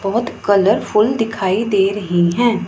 बहुत कलरफुल दिखाई दे रही हैं।